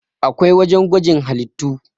akwai wajen gwajin halittu